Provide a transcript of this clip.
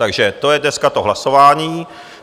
Takže to je dneska to hlasování.